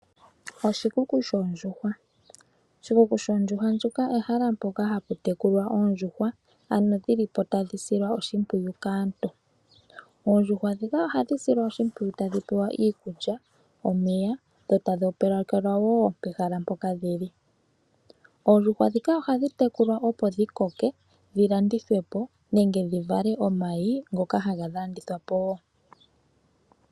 Oshikuku shoondjuhwa! Oshikuku shoondjuhwa ndjoka ehala mpoka haputekulwa oondjuhwa ano dhilipo tadhisilwa oshipwiyu kaantu. Oondjuhwa dhika ohadhi silwa oshimpwiyu tadhipewa iikulya, omeya, yotadhi opalekelwa woo pehala mpoka dhili. Oondjuhwa dhika ohadhitekulwa opo dhikoke dhilandithwepo, nenge dhivale omayi ngoka haga landithwapo woo.